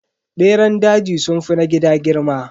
Beran daji sunfi na gida girma.